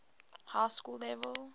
high school level